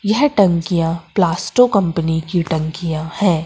यह टंकिया प्लास्टो कंपनी की टंकिया है।